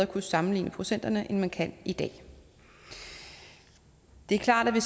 kunne sammenligne procenterne bedre end man kan i dag det er klart at vi